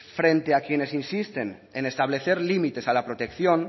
frente a quienes insisten en establecer límites a la protección